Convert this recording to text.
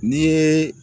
N'i ye